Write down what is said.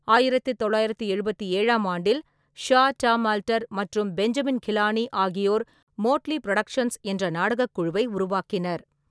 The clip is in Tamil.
ஆயிரத்து தொள்ளாயிரத்து எழுபத்தி ஏழாம் ஆண்டில், ஷா, டாம் ஆல்டர் மற்றும் பெஞ்சமின் கிலானி ஆகியோர் மோட்லி புரொடக்ஷன்ஸ் என்ற நாடகக் குழுவை உருவாக்கினர்.